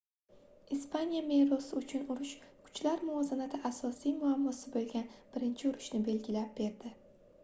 ispaniya merosi uchun urush kuchlar muvozanati asosiy muammosi boʻlgan birinchi urushni belgilab berdi